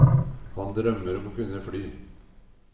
Han drømmer om å kunne fly.